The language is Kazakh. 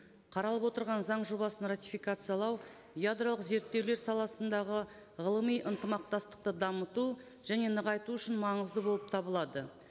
қаралып отырған заң жобасын ратификациялау ядролық зерттеулер саласындағы ғылыми ынтымақтастықты дамыту және нығайту үшін маңызды болып табылады